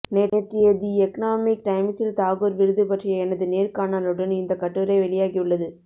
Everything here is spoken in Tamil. நேற்றைய தி எக்னாமிக் டைம்ஸில் தாகூர் விருது பற்றிய எனது நேர்காணலுடன் இந்தக் கட்டுரை வெளியாகி உள்ளது